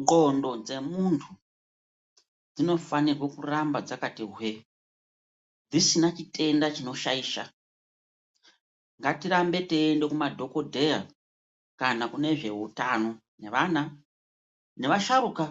Ndxondo dzemuntu dzinofanirwe kuramba dzakati hwee, dzisina chitenda chinoshaisha. Ngatirambe teiyende kumadhokodheya kana kune zveutano nevana, nevasharuka